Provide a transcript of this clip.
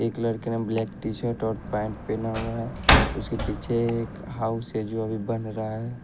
एक लड़के ने ब्लैक शर्ट और पेंट पहना हुआ है उसके पीछे एक हाउस जो अभी बन रहा है एक--